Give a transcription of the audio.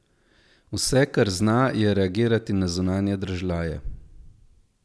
Vse, kar zna, je reagirati na zunanje dražljaje.